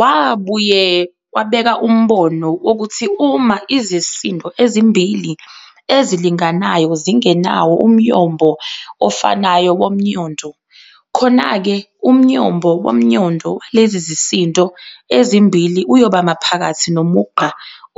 Wabuye wabeka umbono wokuthi uma izisindo ezimbili ezilinganayo zingenawo umyombo ofanayo womnyondo, khonake umnyombo womnyondo walezi zisindo ezimbili uyoba maphakathi nomugqa